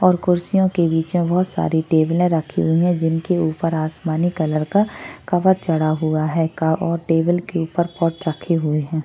और कुर्सिओ के बीच में बहुत सारी टेबले रखी हुई है जिनके उपर आसमानी कलर का कवर चड़ा हुआ है का और टेबल के उपर पॉट रखे हुए है।